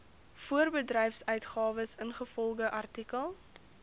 voorbedryfsuitgawes ingevolge artikel